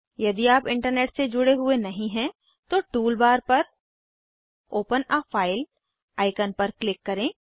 यदि आप इंटरनेट से जुड़े हुए नहीं हैं तो टूल बार पर ओपन आ फाइल आइकन पर क्लिक करें